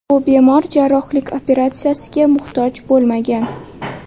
Bu bemor jarrohlik operatsiyasiga muhtoj bo‘lmagan.